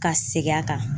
Ka segin a kan